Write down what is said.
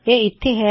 ਇਹ ਲਾਇਨ ਇੱਥੇ ਹੈ